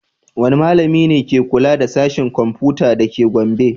Wane malami ne ke kula da Sashen Komfuta da ke Gombe?